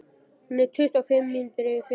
Hún er tuttugu og fimm mínútur yfir fimm